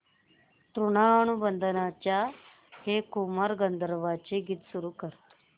ऋणानुबंधाच्या हे कुमार गंधर्वांचे गीत सुरू कर